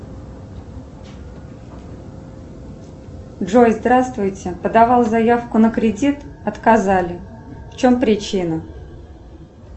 джой здравствуйте подавала заявку на кредит отказали в чем причина